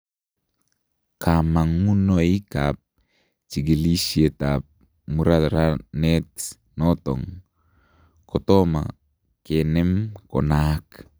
kamangunoik ap kechigilisheet ap muraranet natong kotoma kenem konaaak